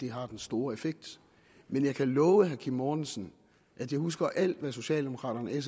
har den store effekt men jeg kan love herre kim mortensen at jeg husker alt hvad socialdemokraterne